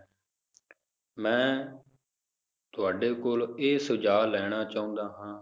ਮੈਂ ਤੁਹਾਡੇ ਕੋਲ ਇਹ ਸੁਝਾਵ ਲੈਣਾ ਚਾਹੁੰਦਾ ਹਾਂ